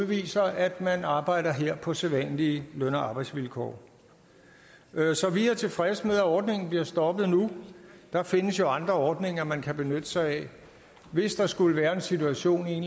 viser at man arbejder her på sædvanlige løn og arbejdsvilkår så vi er tilfredse med at ordningen bliver stoppet nu der findes jo andre ordninger man kan benytte sig af hvis der skulle være en situation i